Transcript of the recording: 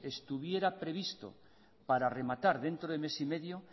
estuviera previsto para rematar dentro de mes y medio